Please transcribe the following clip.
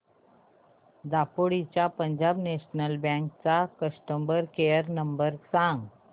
दापोली च्या Punjab national bank चा customer care number सांग